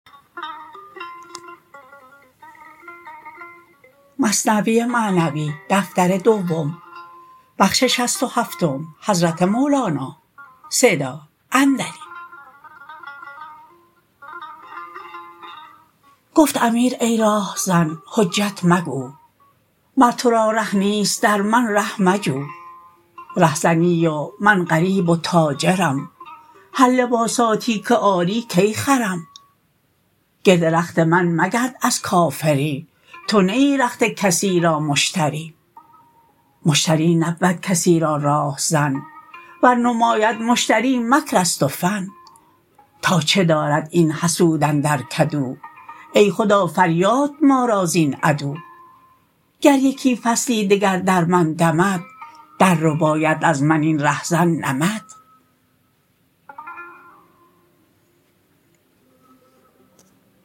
گفت امیر ای راه زن حجت مگو مر تو را ره نیست در من ره مجو ره زنی و من غریب و تاجرم هر لباساتی که آری کی خرم گرد رخت من مگرد از کافری تو نه ای رخت کسی را مشتری مشتری نبود کسی را راه زن ور نماید مشتری مکرست و فن تا چه دارد این حسود اندر کدو ای خدا فریاد ما را زین عدو گر یکی فصلی دگر در من دمد در رباید از من این ره زن نمد